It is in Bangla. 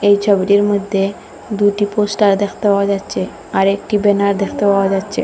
এই ছবিটির মইদ্যে দুটি পোস্টার দেখতে পাওয়া যাচ্চে আর একটি বেনার দেখতে পাওয়া যাচ্চে।